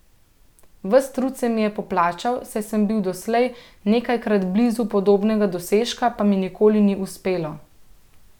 Ves trud se mi je poplačal, saj sem bil doslej nekajkrat blizu podobnega dosežka, pa mi nikoli ni uspelo.